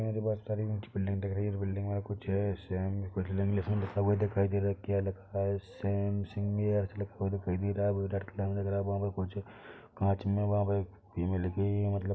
यहाँ मुझे बोहत सारी ऊँची बिल्डिंग दिख रही है इस बिल्डिंग में कुछ है सेम कुछ इंग्लिश में लिखा हुआ दिखाई दे रहा है क्या लिखा है सेम लिखा हुआ दिखाई दे रहा है वो रेड कलर में लगरा वहाँ पर कुछ काँच में वहाँ पे एक लिखी हुई है मतलब --